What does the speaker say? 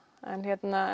er